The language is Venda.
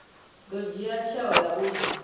ḓo dzhia tsheo ya uri